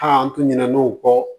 A tun ɲin'o kɔ